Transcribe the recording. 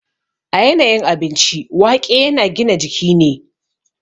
A yanayin abinci, waƙe yana gina jiki ne.